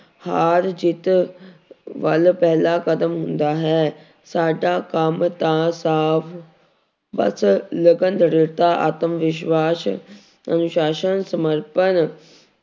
ਹਾਰ ਜਿੱਤ ਵੱਲ ਪਹਿਲਾਂ ਕਦਮ ਹੁੰਦਾ ਹੈ ਸਾਡਾ ਕੰਮ ਤਾਂ ਸਾਫ਼ ਬਸ ਲਗਨ ਦ੍ਰਿੜਤਾ ਆਤਮ ਵਿਸ਼ਵਾਸ ਅਨੁਸ਼ਾਸ਼ਨ ਸਮਰਪਣ